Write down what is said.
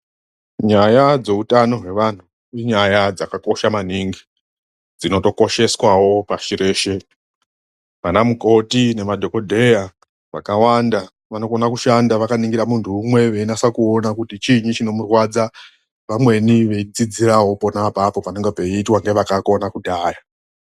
Nyaya dzeutano hwevanhu inyaya dzakakosha maningi. Dzinotokosheswawo pashi reshe. Vana mukoti nemadhokodheya vakawanda vanokone kushanda vakaningira munhu umwe veinasa kuone kuti chiinyi chinomurwadza. Vamweni veidzidzirawo apapo panenge peiitwa ngevakakona kudhaya.